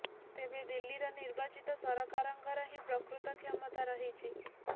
ତେବେ ଦିଲ୍ଲୀର ନିର୍ବାଚିତ ସରକାରଙ୍କର ହିଁ ପ୍ରକୃତ କ୍ଷମତା ରହିଛି